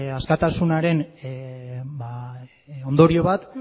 askatasunaren ondorio bat